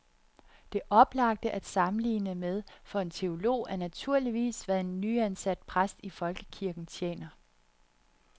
Det oplagte at sammenligne med for en teolog er naturligvis, hvad en nyansat præst i folkekirken tjener.